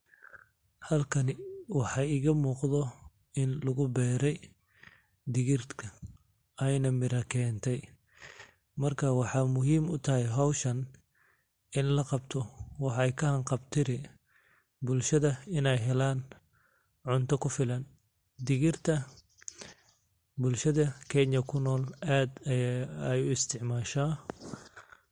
Halkani waxa igamuqdho, in laguberay digirtaa ayna mira kentay, marka maxa muxiim utaxay xowshaan, in lagabto waxay kaxanqabtiri bulshadha inay xelaan cunta kufilan, digirta bulshada kenya kunol adh ayay uisticmasha.